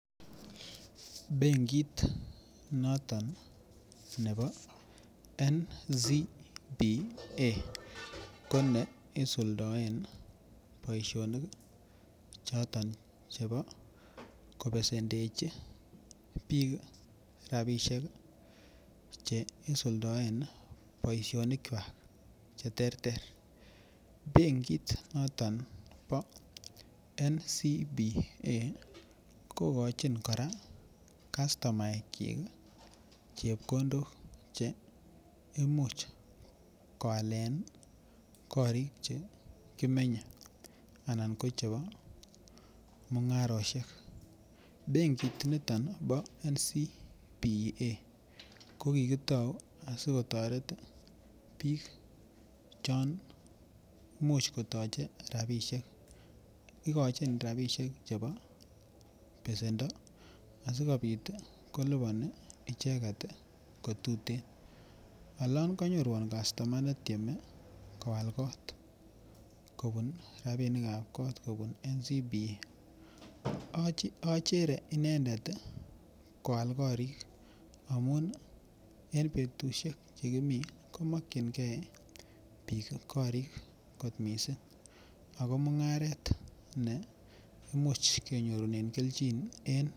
Benkit noton nebo NCBA ko ne isuldoen boisionik choton Chebo kobesendechi bik rabisiek Che isuldoen boisionikwak Che terter benkit noton nebo NCBA kogochin kastomaekyik chepkondok Che Imuch koalen korik Che kimenye anan ko chebo mungarosiek benkit niton bo NCBA ko kitou asi kotoret bik chon Imuch kotoche rabisiek igochin rabisiek chebo besendo asikobit kolipani icheget ko tuten olon kanyorwon kastoma netieme koal kot kobun NCBA achere inendet koal korik amun en betusiek Che kimi komakyinge bik korik kot mising ago mungaret ne Imuch kenyorunen kelchin